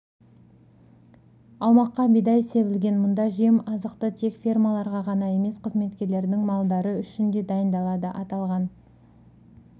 аумаққа бидай себілген мұнда жем-азықты тек фермаларға ғана емес қызметкерлердің малдары үшін де дайындалады аталған